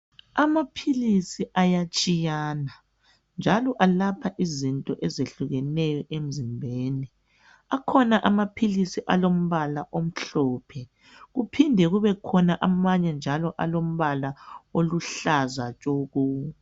Amaphilisi ayatshiyana njalo alapha izinto ezehlukeneyo emzimbeni. Akhona amaphilisi olombala omhlophe kuphinde kubekhona amanye njalo alombala oluhlaza tshoko.